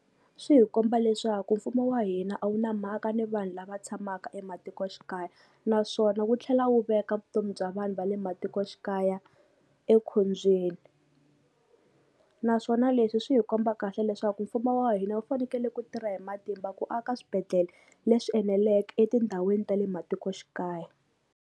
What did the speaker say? Swi hi komba leswaku mfumo wa hina a wu na mhaka ni vanhu lava tshamaka ematikoxikaya naswona wu tlhela wu veka vutomi bya vanhu va le matikoxikaya ekhombyeni, naswona leswi swi hi komba kahle leswaku mfumo wa hina wu fanekele ku tirha hi matimba ku aka swibedhlele leswi eneleke etindhawini ta le matikoxikaya.